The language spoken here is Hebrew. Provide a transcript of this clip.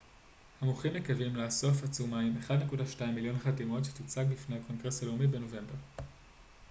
המוחים מקווים לאסוף עצומה עם 1.2 מיליון חתימות שתוצג בפני הקונגרס הלאומי בנובמבר